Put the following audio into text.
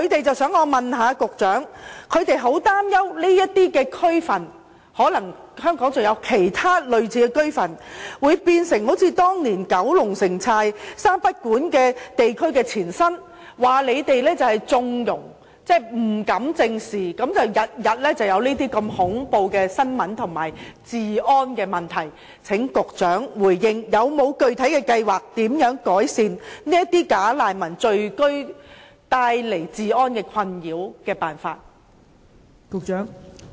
居民很擔心這些區份或香港其他類似的區份，會變成好像當年九龍寨城三不管地區的前身，說當局縱容、不敢正視，因而每天都出現如此恐怖的新聞及治安的問題，請局長回應有否具體辦法改善"假難民"聚居帶來治安困擾？